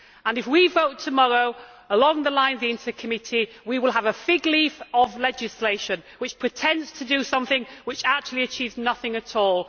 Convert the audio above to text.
If we vote tomorrow along the lines of the INTA Committee, we will have a fig leaf of legislation which pretends to do something, but which actually achieves nothing at all.